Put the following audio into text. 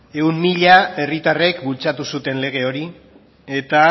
ehun mila herritarrek bultzatu zuten lege hori eta